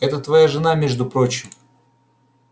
это твоя жена между прочим